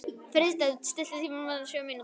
Friðsteinn, stilltu tímamælinn á sjö mínútur.